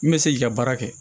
N bɛ se k'i ka baara kɛ